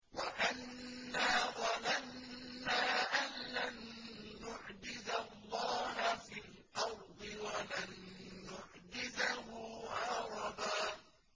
وَأَنَّا ظَنَنَّا أَن لَّن نُّعْجِزَ اللَّهَ فِي الْأَرْضِ وَلَن نُّعْجِزَهُ هَرَبًا